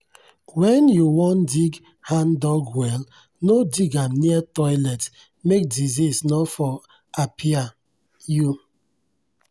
when you won dig hand-dug well no dig am near toilet make disease nor for apiai you.